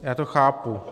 Já to chápu.